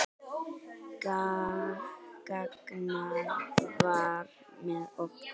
Ragnar var með okkur.